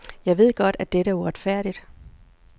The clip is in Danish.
Jeg ved godt, at dette er uretfærdigt.